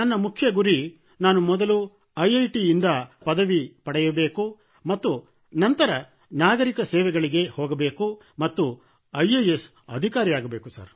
ನನ್ನ ಮುಖ್ಯ ಗುರಿ ನಾನು ಮೊದಲು ಐಐಟಿ ಯಿಂದ ಮೊದಲ ಪದವಿ ಪಡೆಯಬೇಕು ಮತ್ತು ನಂತರ ನಾಗರಿಕ ಸೇವೆಗಳಿಗೆ ಹೋಗಬೇಕು ಮತ್ತು ಐಎಎಸ್ ಅಧಿಕಾರಿ ಆಗಬೇಕು